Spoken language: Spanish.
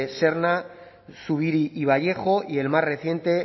serna zubiri y vallejo y el más reciente